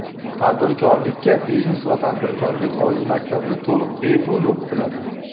tadbirkorlikka Biznes va tadbirkorlik oliy maktabida to‘liq bepul o‘qitiladi.